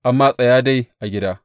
Amma tsaya dai a gida!